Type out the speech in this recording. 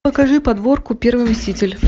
покажи подборку первый мститель